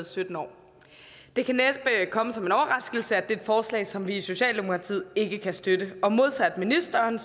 sytten år det kan næppe komme som en overraskelse at det er et forslag som vi i socialdemokratiet ikke kan støtte og modsat ministeren